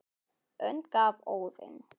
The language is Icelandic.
önd gaf Óðinn